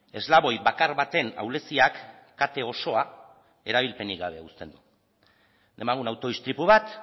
eslaboi bakar baten ahuleziak kate osoa erabilpenik gabe uzten du demagun auto istripu bat